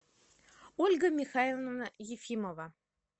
ольга михайловна ефимова